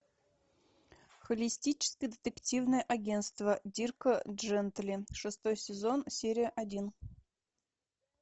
холистическое детективное агентство дирка джентли шестой сезон серия один